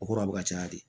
O kɔrɔ bɛ ka caya de